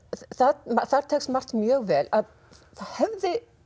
þar tekst margt mjög vel að það hefði